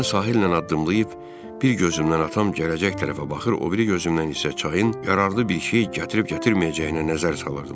Mən sahillə addımlayıb bir gözümdən atam gələcək tərəfə baxır, o biri gözümdən isə çayın yararlı bir şey gətirib-gətirməyəcəyinə nəzər salırdım.